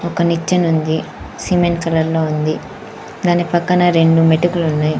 ఒక నిచ్చెన ఉంది సిమెంట్ కలర్ లో ఉంది దాని పక్కన రెండు మెటుకులు ఉన్నాయి.